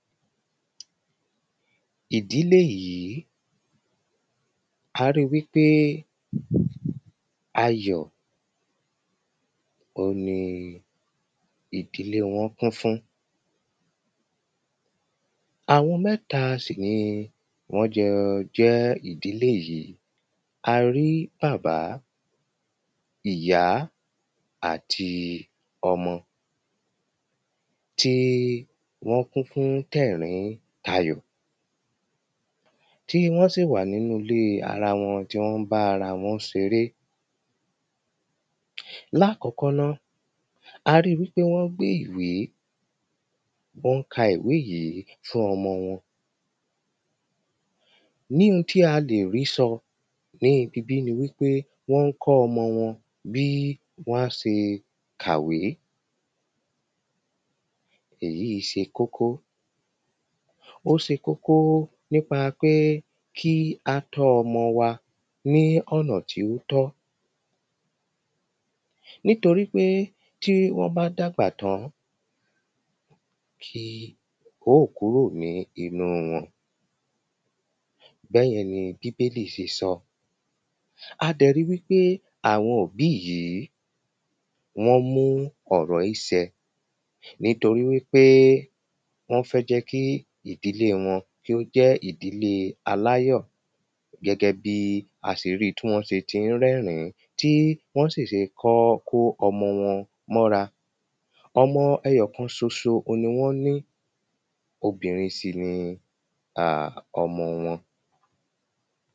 ìdílé yìí, a rí i wípé ayọ̀, òhun ni ìdílé wọn kún fún àwọn mẹ́ta sì ni wọ́n jọ jẹ́ ìdìlé yìí. a rí bàbá, ìyá àti ọmọ tí wọ́n kún fún tẹ̀ríntayọ̀, tí wọ́n sì wà nínú ilé ara wọn, tí wọ́n bá ara wọn ṣeré lákọ́kọ́ ná, a rí i wípé wọ́n gbé ìwé, wọ́n ka ìwé yìí fún ọmọ wọn níhun tí a lè rí sọ ní ibibí ni wípé wọ́n ń kọ́ ọmọ wọ́n bí wán ṣe kàwé èyíì ṣe kókó. ó ṣe kókó nípa pé kí a tọ́ ọmọ wa ní ọ̀nà tí ó tọ́ nítorí pé tí wọ́n bá dàgbà tán, kì yóò kúrò nínú wọn. bẹ́yẹn ni bíbélì ṣe sọ a dẹ̀ ríi wípé àwọn òbí yìí, wọ́n mú ọ̀rọ̀ yí ṣẹ nítorí wípé wọ́n fẹ́ jẹ́ kí ìdílé wọn, kí ó jẹ́ ìdílé aláyọ̀ gẹ́gẹ́bí a ṣe ríi tí wọ́n ṣe ti ń rẹ́rìn-ín, tí wọ́n sì ṣe kọ́ kó ọmọ wọn mọ́ra ọmọ ẹyọ̀kan ṣoṣo ni wọ́n ní, obìnrin sì ni ọmọ wọn